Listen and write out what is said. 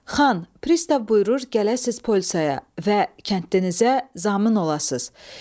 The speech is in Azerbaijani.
Xan, pristav buyurur gələsiz polisaya və kəndinizə zamin olasız.